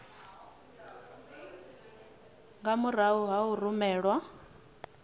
nga murahu ha u rumelwa